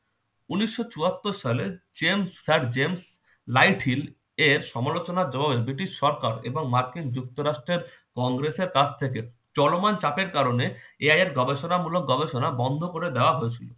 উনিশশো চুহাত্তর সালে জেমস sir জেমস লাইটহিল এর সমালোচনার জবাবে ব্রিটিশ সরকার এবং মার্কিন যুক্তরাষ্টের কংগ্রেসের কাছ থেকে চলমান চাপের কারণে AI এর গবেষণামূলক গবেষণা বন্ধ করে দেয়া হয়েছিল।